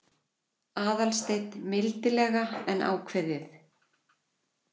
Aðalsteinn mildilega en ákveðið.